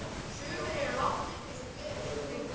Sumir eru látnir eins og gerist og gengur.